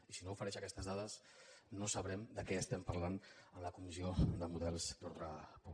i si no ofereix aquestes dades no sabrem de què estem parlant en la comissió de models d’ordre públic